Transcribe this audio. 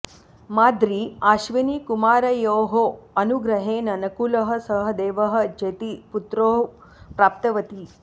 माद्री अश्विनिकुमारयोः अनुग्रहेण नकुलः सहदेवः चेति पुत्रौ प्राप्तवती